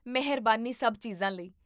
ਮੇਹਰਬਾਨੀ ਸਭ ਚੀਜਾਂ ਲਈ